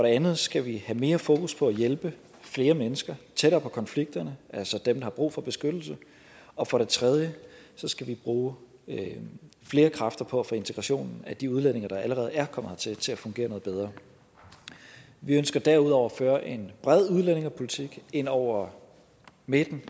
andet skal vi have mere fokus på at hjælpe flere mennesker tættere på konflikterne altså dem der har brug for beskyttelse og for det tredje skal vi bruge flere kræfter på at få integrationen af de udlændinge der allerede er kommet hertil til at fungere noget bedre vi ønsker derudover at føre en bred udlændingepolitik ind over midten